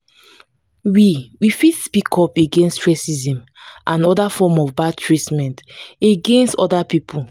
we we fit speak up against racism and oda forms of bad treatment against oda pipo